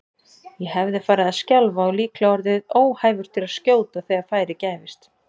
Ég hefði farið að skjálfa og líklega orðið óhæfur til að skjóta þegar færi gæfist.